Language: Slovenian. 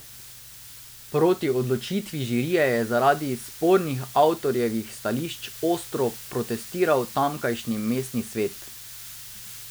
Proti odločitvi žirije je zaradi spornih avtorjevih stališč ostro protestiral tamkajšnji mestni svet.